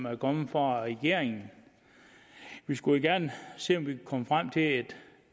er kommet fra regeringen vi skulle jo gerne se om vi komme frem til et